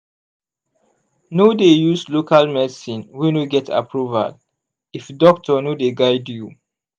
no dey dey use local medicine wey no get approval if doctor no dey guide you.